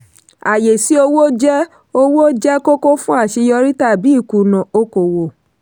ààyè sí owó jẹ́ owó jẹ́ kókó fún àṣeyọrí tàbí ìkùnà okò-òwò.